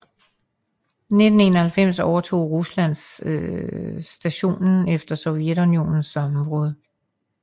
I 1991 overtog Rusland stationen efter Sovjetunionens sammenbrud